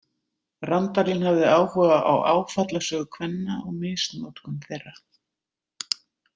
Randalín hafði áhuga á áfallasögu kvenna og misnotkun þeirra.